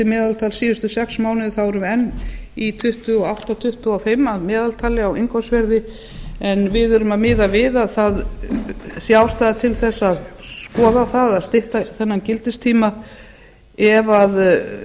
meðaltals síðustu sex mánuði þá erum við enn í tuttugu og átta komma tuttugu og fimm að meðaltali á innkaupsverði en við erum að miða við að það sé ástæða til þess að skoða það að stytta þennan gildistíma ef